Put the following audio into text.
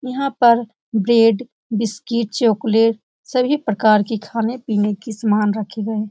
यहाँ पर bread biscuit chocolate सभी प्रकार की खाने पीने की सामान रखे गए हैं।